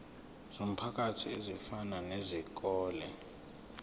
zomphakathi ezifana nezikole